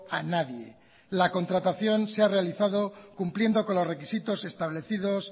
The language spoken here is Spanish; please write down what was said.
a nadie la contratación se ha realizado cumpliendo con los requisitos establecidos